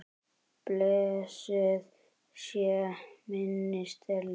Blessuð sé minning Stellu.